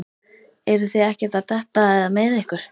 Eruð þið ekkert að detta eða meiða ykkur?